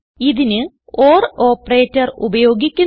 ഇതിന് or operator ഉപയോഗിക്കുന്നു